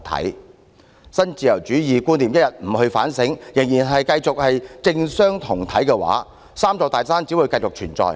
如果一天不就新自由主義觀念進行反省，仍然繼續政商同體，"三座大山"只會繼續存在。